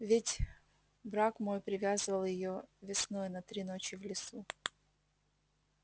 ведь браг мой привязывал её весной на три ночи в лесу